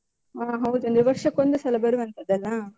ಆ ಹೌದು ಅಂದ್ರೆ ವರ್ಷಕ್ಕೊಂದೆಸಲ ಬರುವಂತದ್ದಲ್ಲಾ?